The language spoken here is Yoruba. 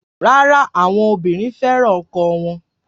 Rárá, àwọn obìnrin fẹ́ràn ọkọ wọn